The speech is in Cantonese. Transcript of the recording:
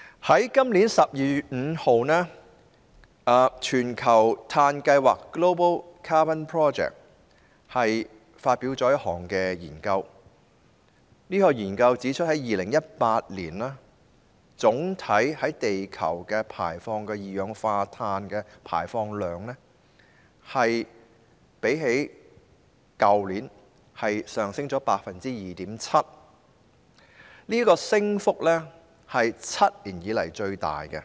在今年12月5日，全球碳計劃發表了一項研究結果，指出2018年地球總體二氧化碳排放量較去年上升 2.7%， 這是7年以來最大的升幅。